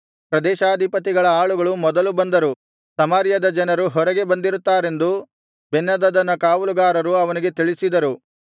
ಪ್ರದೇಶಾಧಿಪತಿಗಳ ಆಳುಗಳು ಮೊದಲು ಬಂದರು ಸಮಾರ್ಯದ ಜನರು ಹೊರಗೆ ಬಂದಿರುತ್ತಾರೆಂದು ಬೆನ್ಹದದನ ಕಾವಲುಗಾರರು ಅವನಿಗೆ ತಿಳಿಸಿದರು